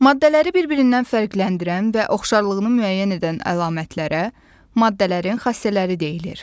Maddələri bir-birindən fərqləndirən və oxşarlığını müəyyən edən əlamətlərə, maddələrin xassələri deyilir.